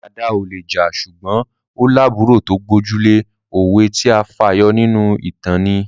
Dàda ò le jà ṣùgbọ́n ó lábùúrò tó gbójú lé. Òwe tí a fà yọ nínú ìtàn ni